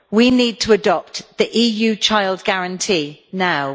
We need to adopt the EU Child Guarantee now.